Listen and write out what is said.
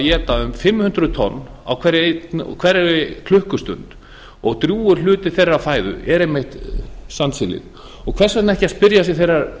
éta um fimm hundruð tonn á hverri klukkustund og drjúgur hluti þeirrar fæðu er einmitt sandsílið og hvers vegna ekki að spyrja sig þeirrar